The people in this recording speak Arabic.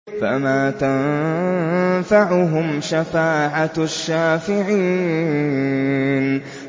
فَمَا تَنفَعُهُمْ شَفَاعَةُ الشَّافِعِينَ